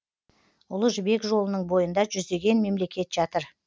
ұлы жібек жолының бойында жүздеген мемлекет жатыр